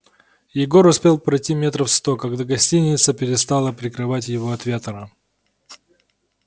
егор успел пройти метров сто когда гостиница перестала прикрывать его от ветра